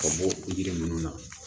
Ka bɔ yiri nunnu na